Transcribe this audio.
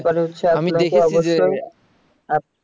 আমি দেখেছি যে